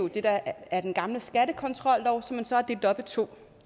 det der er den gamle skattekontrollov som man så har delt op i to